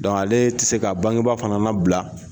ale tɛ se ka bangeba fana labla.